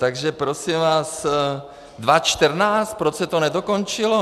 Takže prosím vás, 2014, proč se to nedokončilo?